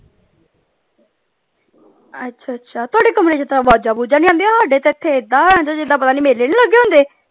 ਅੱਛਾ ਅੱਛਾ ਤੁਹਾਡੇ ਕਮਰੇ ਚ ਤੇ ਅਵਾਜ਼ਾਂ ਵੁਜਾਂ ਨਹੀਂ ਆਉਂਦੀਆਂ ਸਾਡੇ ਤੇ ਇਥੇ ਏਦਾਂ ਹੋ ਜਾਂਦਾ ਜਿਦਾਂ ਪਤਾ ਨਹੀਂ ਮੇਲੇ ਨਹੀਂ ਲੱਗੇ ਹੁੰਦੇ।